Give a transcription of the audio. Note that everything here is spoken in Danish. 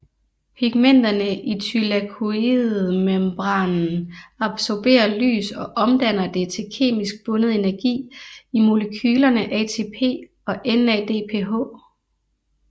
Pigmenterne i thylakoidemembranen absorberer lys og omdanner det til kemisk bundet energi i molekylerne ATP og NADPH